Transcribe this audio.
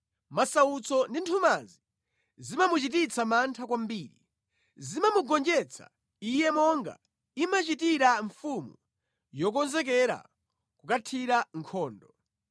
Masautso ndi nthumanzi zimamuchititsa mantha kwambiri; zimamugonjetsa iye monga imachitira mfumu yokonzekera kukathira nkhondo,